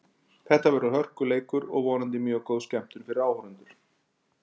Þetta verður bara hörkuleikur og vonandi mjög góð skemmtun fyrir áhorfendur.